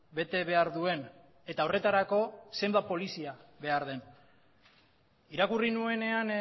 bete behar duen eta horretarako zenbat polizia behar den irakurri nuenean